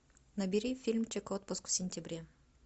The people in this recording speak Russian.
набери фильмчик отпуск в сентябре